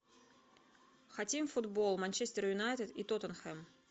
хотим футбол манчестер юнайтед и тоттенхэм